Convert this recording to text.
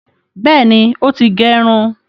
Bẹẹni, o ti gerun